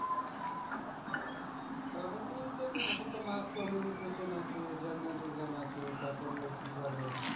তাহলে তো ওই একে তো আছে আছে তারপরে ওই কি বলে